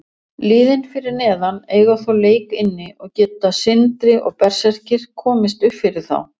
Liðin fyrir neðan eiga þó leik inni og geta Sindri og Berserkir komist uppfyrir þá.